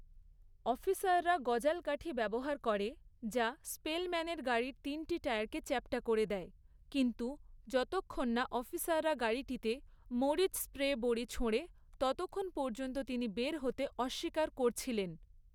অফিসাররা গজাল কাঠি ব্যবহার করে, যা স্পেলম্যানের গাড়ির তিনটি টায়ারকে চ্যাপ্টা করে দেয়, কিন্তু যতক্ষণ না অফিসাররা গাড়িতে মরিচ স্প্রে বড়ী ছোঁড়ে, ততক্ষণ পর্যন্ত তিনি বের হতে অস্বীকার করছিলেন।